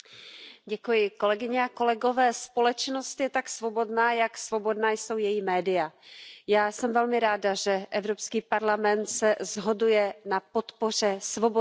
Pane předsedající, společnost je tak svobodná, jak svobodná jsou její média. Já jsem velmi ráda, že Evropský parlament se shoduje na podpoře svobodných médií.